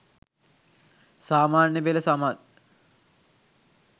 සාමාන්‍යපෙළ සමත්